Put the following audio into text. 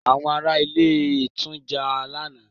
Àwọn ará ilé tún jà lánàá.